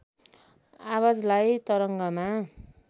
आवाजलाई तरङ्गमा